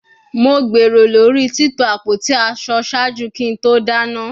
Mo gbero lori tito apoti aṣọ ṣaaju ki to dana